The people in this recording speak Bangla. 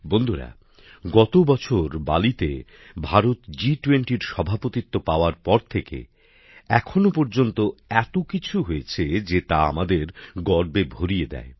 বন্ধুরা গত বছর বালিতে ভারত জি20র সভাপতিত্ব পাওয়ার পর থেকে এখনও পর্যন্ত এত কিছু হয়েছে যে তা আমাদের গর্বে ভরিয়ে দেয়